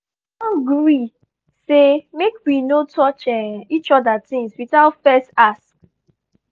um we don gree say make we no touch um each other things without first ask.